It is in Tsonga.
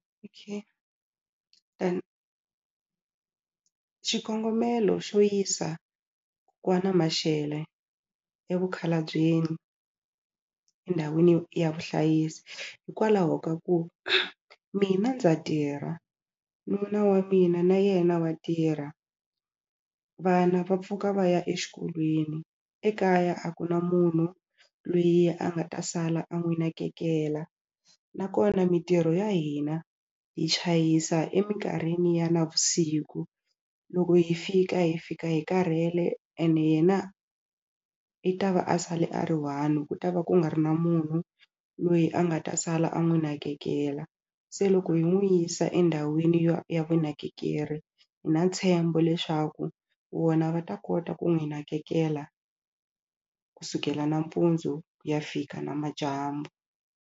then xikongomelo xo yisa Mashele evumukhalabyeni endhawini ya vuhlayisi hikwalaho ka ku mina ndza tirha nuna wa mina na yena wa tirha, vana va pfuka va ya exikolweni ekaya a ku na munhu lweyi a nga ta sala a n'wi nakekela nakona mitirho ya hina hi chayisa eminkarhini ya navusiku loko hi fika hi fika hi karhele ene yena i ta va a sale a ri one ku ta va ku nga ri na munhu loyi a nga ta sala a n'wi nakekela se loko yi n'wi yisa endhawini ya vunakekeri hi na ntshembo leswaku vona va ta kota ku n'wi nakekela kusukela nampundzu ku ya fika namadyambu.